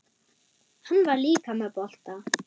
Hann var líka með bolta.